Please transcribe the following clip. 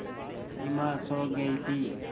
सिमा सो गई थी